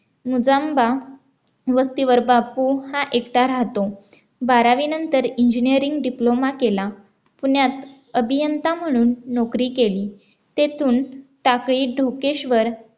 मुजांबा वस्तीवर बापू हा एकटा राहतो बारावीनंतर Engineering Diploma केला पुण्यात अभियंता म्हणून नोकरी केली तेथून टाकळी ढोकेश्वर आणि